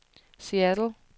Seattle